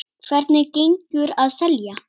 Hvernig gengur að selja?